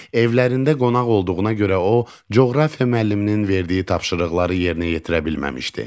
Evlərində qonaq olduğuna görə o, coğrafiya müəlliminin verdiyi tapşırıqları yerinə yetirə bilməmişdi.